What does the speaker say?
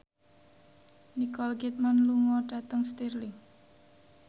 Nicole Kidman lunga dhateng Stirling